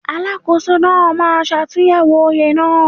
Alákóso náà máa ṣàtúnyẹ̀wò oye náà.